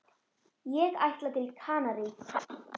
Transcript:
Ég ætla til Kanarí.